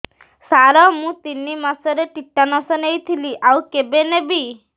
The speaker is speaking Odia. ସାର ମୁ ତିନି ମାସରେ ଟିଟାନସ ନେଇଥିଲି ଆଉ କେବେ ନେବି